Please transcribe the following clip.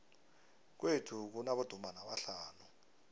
kwethu kunabodumbana abahlanu